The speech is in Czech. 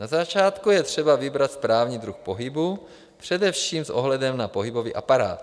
Na začátku je třeba vybrat správný druh pohybu, především s ohledem na pohybový aparát.